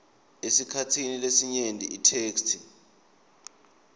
esikhatsini lesinyenti itheksthi